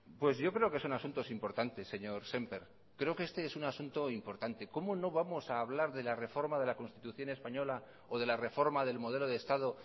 pues yo creo que son asuntos importantes señor sémper creo que este es un asunto importante cómo no vamos a hablar de la reforma de la constitución española o de la reforma del modelo de estado